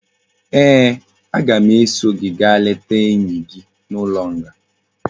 Ee, aga m eso gi gaa leta enyi gi n'ulo nga